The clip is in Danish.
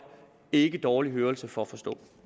ikke dårlig hørelse for at forstå